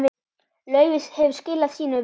Laufey hefur skilað sínu vel.